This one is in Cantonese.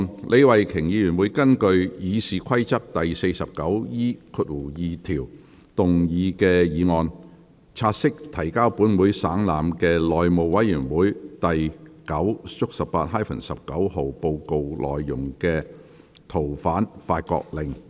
李慧琼議員會根據《議事規則》第 49E2 條動議議案，察悉提交本會省覽的內務委員會第 9/18-19 號報告內的《逃犯令》。